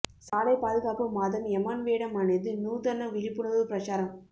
சாலை பாதுகாப்பு மாதம் எமன் வேடம் அணிந்து நூதன விழிப்புணர்வு பிரசாரம்